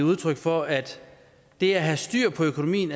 udtryk for at det at have styr på økonomien